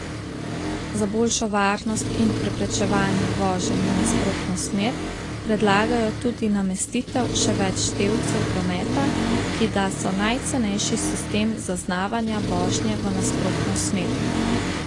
Za boljšo varnost in preprečevanje voženj v nasprotno smer predlagajo tudi namestitev še več števcev prometa, ki da so najcenejši sistem zaznavanja vožnje v nasprotno smer.